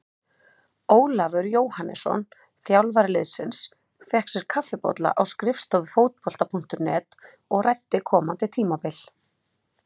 Ólafur Jóhannesson, þjálfari liðsins, fékk sér kaffibolla á skrifstofu Fótbolta.net og ræddi komandi tímabil.